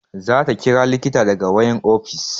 Za ta ƙira likita daga wayan ofis